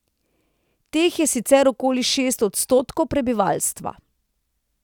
Teh je sicer okoli šest odstotkov prebivalstva.